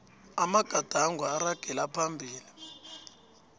amagadango aragela phambili